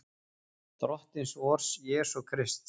Drottins vors Jesú Krists.